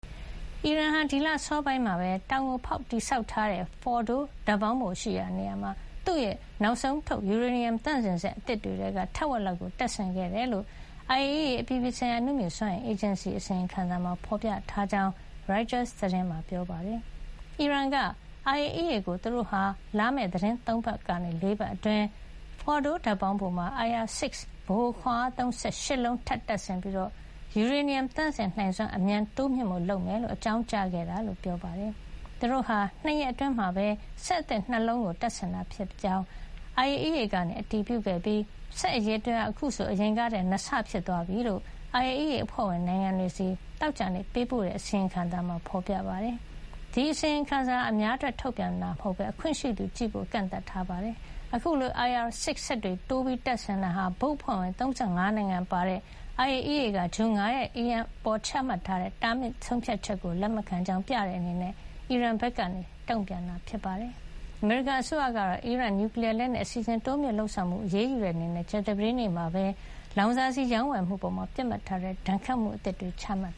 အီရန်ဟာ ဒီလအစောပိုင်းမှာပဲ တောင်ကိုဖေါက်ပြီးတည်ဆောက်ထားတဲ့ Fordow ဓါတ်ပေါင်းဖိုရှိရာ နေရာမှာ သူ့ရဲ့ နောက်ဆုံးထုတ် ယူရေနီယံ သန့်စင်စက် အသစ်တွေထဲက ထက်ဝက်လောက်ကို တပ်ဆင်ခဲ့တယ်လို့ IAEA အပြည်ပြည်ဆိုင်ရာ အနုမြူစွမ်းအင်အေဂျင်စီရဲ့ အစီရင်ခံစာမှာ ဖေါ်ပြထားကြောင်း ရိုက်တာသတင်းက ရေးပါတယ်။ အီရန်က IAEA ကို သူတို့ဟာ လာမယ့်သီတင်းပတ် ၃ ပတ်ကနေ ၄ ပတ်အတွင်း Fordow ဓါတ်ပေါင်းဖိုမှာ IR- 6 ဗဟိုခွါအားသုံးစက် ၈ လုံး ထပ်မံတပ်ဆင်ပြီး ယူရေနီယံ သန့်စင်နိုင်စွမ်းကို အမြန် တိုးမြှင့်ဖို့လုပ်မှာဖြစ်ကြောင်း အကြောင်းကြားခဲ့တယ်လို့ ပြောပါတယ်။ သူတို့ဟာ ၂ ရက်အတွင်း စက်အသစ် ၂ လုံးကို တပ်ဆင်ခဲ့တယ်လို့ IAEA က အတည်ပြုခဲ့ပြီး စက်အရေအတွက်ဟာ အခုဆို အရင်ကထက် ၂ ဆ ဖြစ်သွားပြီလို့ IAEA အဖွဲ့ဝင်နိုင်ငံတွေဆီ သောကြာနေ့ပေးပို့တဲ့ အစီရင်ခံစာမှာ ဖေါ်ပြထားတာပါ။ ဒီအစီရင်ခံစာဟာ အများအတွက် ထုတ်ပြန်တာမဟုတ်ပဲ အခွင့်ရှိသူမှသာ ကြည့်ဖို့ ကန့်သတ်ထားပါတယ်။ အခုလို IR – 6 စက်တွေ တိုးပြီး တပ်ဆင်တာဟာ ဘုတ်အဖွဲ့ဝင် ၃၅ နိုင်ငံပါတဲ့ IAEA က ဇွန်လ ၅ ရက်နေ့က အီရန်အပေါ် ချမှတ်ထားတဲ့ တားမြစ်တဲ့ဆုံးဖြတ်ချက်ကို လက်မခံကြောင်း ပြတဲ့အနေနဲ့ အီရန်ဘက်က တုံ့ပြန်တာ ဖြစ်ပါတယ်။ အမေရိကန်အစိုးရကတော့ အီရန်ရဲ့ နျူကလီယားလက်နက်အစီစဉ် တိုးမြှင့်လုပ်ဆောင်မှုကို အရေးယူတဲ့ အနေနဲ့ ကြာသပတေးနေ့မှာပဲ အီရန်ရဲ့ လောင်စာဆီရောင်းဝယ်မှုအပေါ် ပစ်မှတ်ထားတဲ့ ဒဏ်ခတ်မှုအသစ်တွေ ချမှတ်